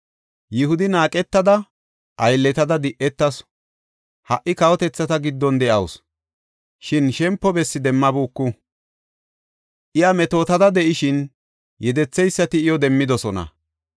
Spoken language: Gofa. Yihudi naaqetada; aylletada di7etasu; ha77i kawotethata giddon de7awusu; shin shempo bessi demmabuku. Iya metootada de7ishin, yedetheysati iyo demmidosona.